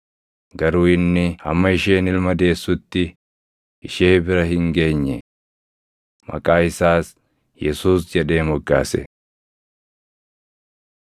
Garuu inni hamma isheen ilma deessutti ishee bira hin geenye. Maqaa isaas, “Yesuus” jedhee moggaase.